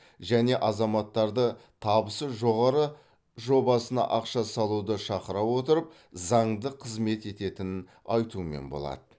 және азаматтарды табысы жоғары жобасына ақша салуды шақыра отырып заңды қызмет ететінін айтумен болады